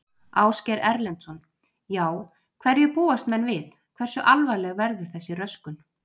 Ásgeir Erlendsson: Já, hverju búast menn við, hversu alvarleg verður þessi röskun?